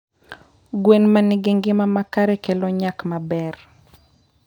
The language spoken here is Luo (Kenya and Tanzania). gwen ma nigi ngima makare kelo nyak maber.